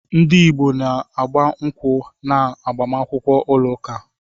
Ndị Igbo na-agba nkwụ́ na agbamakwụkwọ ụlọ ụka.